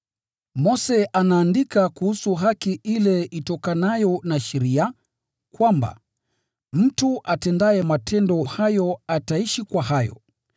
Mose anaandika kuhusu haki ile itokanayo na sheria, kwamba, “Mtu atendaye matendo hayo ataishi kwa hayo.”